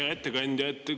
Hea ettekandja!